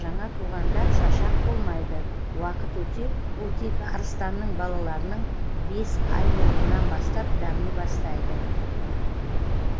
жаңа туғанда шашақ болмайды уақыт өте ол тек арыстанның балаларының бес айлылығынан бастап дами бастайды